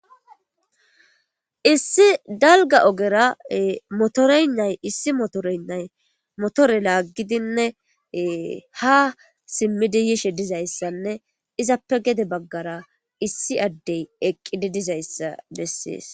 issi dalga ogera motoreynnay issi motoroynnay motore laaggidinne ha simmidi yishe dizayssanne izappe gede baggara issi addey eqqidi dizayssa bessies